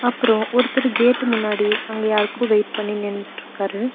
அப்றோ ஒருத்தரு கேட்டு முன்னாடி அங்க யாருக்கோ வெயிட் பண்ணி நின்னுட்ருக்காரு.